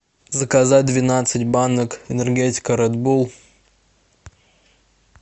заказать двенадцать банок энергетика ред булл